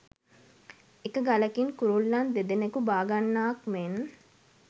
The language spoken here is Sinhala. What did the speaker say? එක ගලකින් කුරුල්ලන් දෙදෙනකු බාගන්නාක් මෙන්